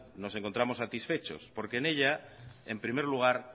nos encontramos satisfechos en ella en primer lugar